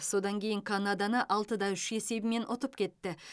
содан кейін канаданы алты да үш есебімен ұтып кетті